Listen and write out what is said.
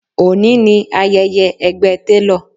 Òní ni ayẹyẹ ẹgbẹ́ télọ̀